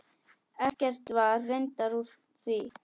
Ekkert var reyndar úr því.